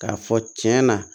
K'a fɔ cɛn na